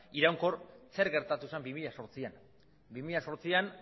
iraunkor zer gertatu zen bi mila zortzian bi mila zortzian